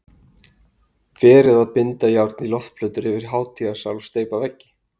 Verið að binda járn í loftplötur yfir hátíðasal og steypa veggi